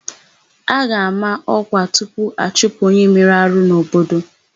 A ga-àmá ọ́kwà tupu achụpụ onye mere arụ n'obodo.